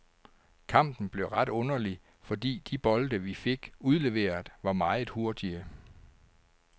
Kampen blev ret underlig, fordi de bolde, vi fik udleveret, var meget hurtige.